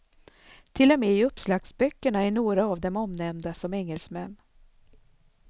Till och med i uppslagsböckerna är några av dem omnämnda som engelsmän.